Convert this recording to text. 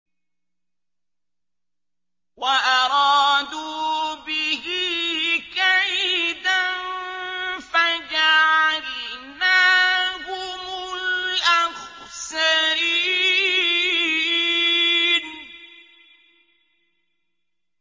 وَأَرَادُوا بِهِ كَيْدًا فَجَعَلْنَاهُمُ الْأَخْسَرِينَ